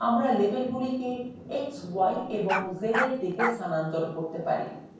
আমরা লেবেলগুলিকে x y এবং zwe দিকে স্থানান্তর করতে পারি